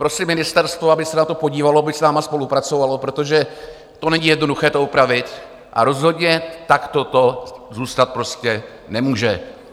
Prosím ministerstvo, aby se na to podívalo, aby s námi spolupracovalo, protože to není jednoduché to upravit, a rozhodně takto to zůstat prostě nemůže.